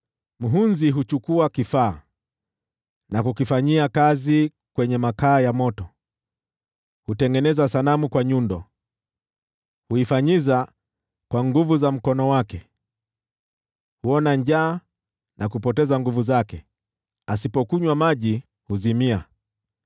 Muhunzi huchukua kifaa na kukifanyia kazi kwenye makaa ya moto, hutengeneza sanamu kwa nyundo, huifanyiza kwa nguvu za mkono wake. Huona njaa na kupoteza nguvu zake, asipokunywa maji huzimia.